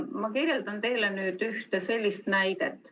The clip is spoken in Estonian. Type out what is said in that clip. Ma kirjeldan teile nüüd ühte sellist näidet.